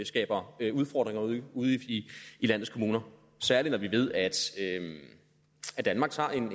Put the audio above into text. skaber udfordringer ude i landets kommuner særlig når vi ved at danmark tager en